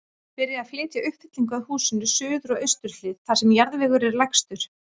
Byrjað að flytja uppfyllingu að húsinu, suður og austur hlið, þar sem jarðvegur er lægstur.